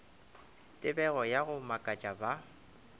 tebego ya go makatša ba